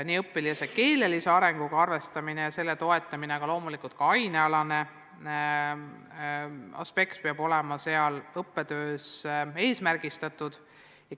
Nii õpilase keelelise arenguga arvestamine ja selle toetamine, aga loomulikult ka aine andmine peab olema õppetöös selgelt eesmärgistatud.